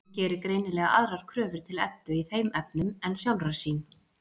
Hún gerir greinilega aðrar kröfur til Eddu í þeim efnum en sjálfrar sín.